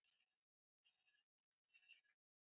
Sami háttur verður á morgun.